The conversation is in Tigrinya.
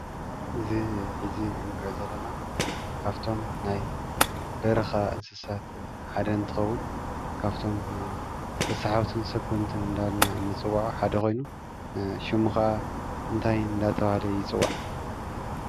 እዚ ሓዚ እንሪኦ ዘለና ካፍቶም ናይ በረኻ እንስሳት ሓደ እንትኸዉን፣ ካፍቶም ተስሓብትን ሰጎምትን እንዳ በልና ንፅዉዖ ሓደ ኾይኑ ሽሙ ኸዓ እንታይ እንዳተብሃለ ይፅዋዕ?